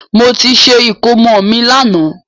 Mo ti ṣe ìkómọ mi lànà